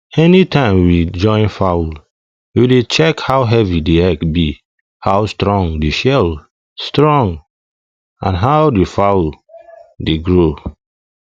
anytime we join fowl we dey check how heavy the egg be how strong the shell strong and how the fowl dey grow